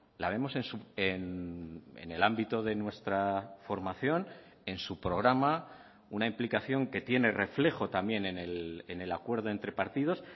la vemos en el ámbito de nuestra formación en su programa una implicación que tiene reflejo también en el acuerdo entre partidos